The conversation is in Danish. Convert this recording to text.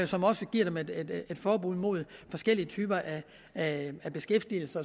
som også giver dem et forbud mod forskellige typer af beskæftigelse